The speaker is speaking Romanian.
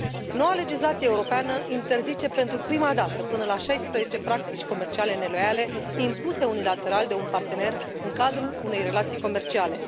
Noua legislație europeană interzice, pentru prima dată, până la șaisprezece practici comerciale neloiale impuse unilateral de un partener în cadrul unei relații comerciale.